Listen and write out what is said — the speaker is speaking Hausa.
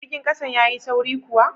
Jirgin kasan ya Yi sauri kuwa?